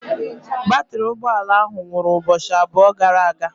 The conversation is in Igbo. Batrị ụgbọ ala ahụ nwụrụ ụbọchị abụọ gara aga.